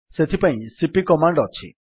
ସେଥିପାଇଁ CP command ଅଛି